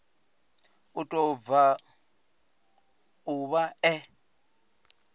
u tou bva ḓuvha ḽe